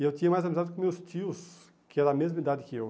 E eu tinha mais amizade com meus tios, que eram da mesma idade que eu.